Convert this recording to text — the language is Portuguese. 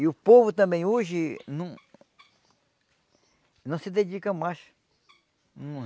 E o povo também hoje não não se dedica mais. Não